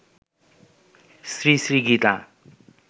Shri Shri Gita